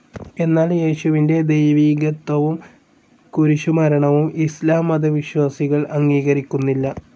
എന്നാൽ യേശുവിൻ്റെ ദൈവികത്വവും കുരിശുമരണവും ഇസ്ലാം മതവിശ്വാസികൾ അംഗീകരിക്കുന്നില്ല.